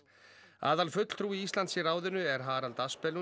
aðalfulltrúi Íslands í ráðinu er Harald